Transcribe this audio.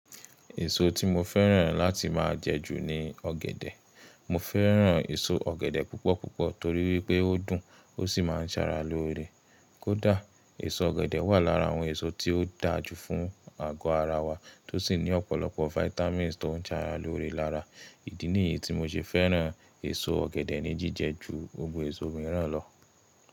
Èso tí mo fẹ́ràn láti máa jẹ jù ni ọ̀gẹ̀dẹ̀. Mo fẹ́ràn èso ọ̀gẹ̀dẹ̀ púpọ̀ púpọ̀ torí wípé ó dùn ó sì máa ń ṣàrà lóore. Kódà, èso ọ̀gẹ̀dẹ̀ wà lára àwọn èso tí ó dáa jù fún àgọ́ ara wa, tó sì ní ọ̀pọ̀lọpọ̀ vitamins tó ń ṣàrà lóore lára. Ìdí nìyí tí mo ṣe fẹ́ràn èso ọ̀gẹ̀dẹ̀ ní jíjẹ ju gbogbo èso mìíràn lọ.